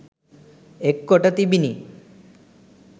එක් කොට තිබිණි.